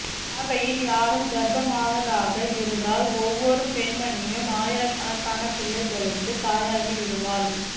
பார்வையில் யாரும் கர்ப்பமாவதாக இருந்தால் ஒவ்வொரு பெண்மணியும் ஆயிரக்கணக்கான பிள்ளைகளுக்கு தாயாகிவிடுவாள்